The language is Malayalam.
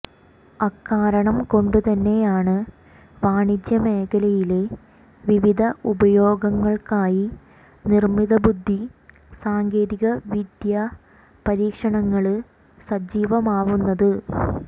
അക്കാരണം കൊണ്ടുതന്നെയാണ് വാണിജ്യ മേഖലയിലെ വിവിധ ഉപയോഗങ്ങള്ക്കായി നിര്മിതബുദ്ധി സാങ്കേതിക വിദ്യാ പരീക്ഷണങ്ങള് സജീവമാവുന്നത്